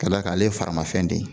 Ka da kan ale ye faramafɛn de ye.